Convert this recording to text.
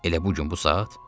Elə bu gün bu saat?